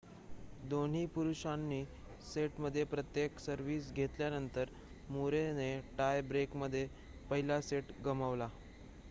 दोन्ही पुरुषांनी सेटमध्ये प्रत्येक सर्विस घेतल्यानंतर मुरे ने टाय ब्रेकमध्ये पहिला सेट गमावला